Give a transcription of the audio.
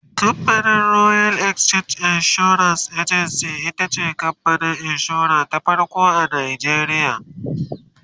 camfanin royal exchange assurance agency itace kamfanin insura ta farko a nigeria